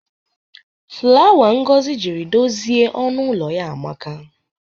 Flawa Ngozi jiri dozie ọnụ ụlọ ya amaka.